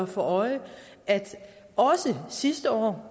for øje at også sidste år